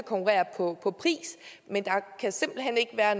konkurrere på pris men at der simpelt hen ikke være